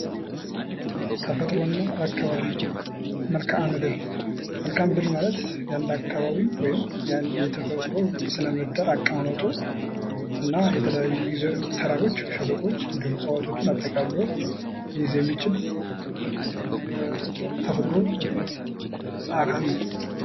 ተፈጥሮ አና አካባቢ መልካ ምድር፦ መልካ ምድር ማለት የአንድ አካባቢ ወይም የአንድ የተፈጥሮ ስነ ምህዳር አቀማመጡ እና የተለያዩ ተራሮች፥ ሸለቆዎች እንዲሁም እፅዋቶችን አጠቃሎ ሊይዝ የሚችል ተፈጥሮ አካል ነው።